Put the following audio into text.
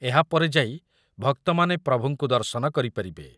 ଏହାପରେ ଯାଇ ଭକ୍ତମାନେ ପ୍ରଭୁଙ୍କୁ ଦର୍ଶନ କରିପାରିବେ ।